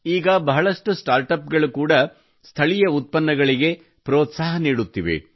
ಈಗ ಬಹಳಷ್ಟು smart app ಗಳು ಕೂಡಾ ಸ್ಥಳೀಯ ಉತ್ಪನ್ನಗಳಿಗೆ ಪ್ರೋತ್ಸಾಹ ನೀಡುತ್ತಿವೆ